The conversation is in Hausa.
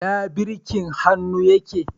Ina birkin hannu yake.